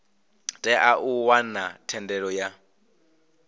tea u wana thendelo ya